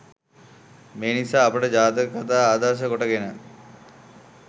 මේ නිසා අපට ජාතක කතා ආදර්ශ කොටගෙන